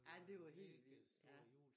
Ja det var helt vildt ja